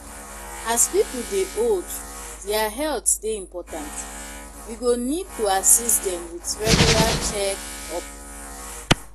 As pipo dey old their health dey important, we go need to assist dem with regular check-up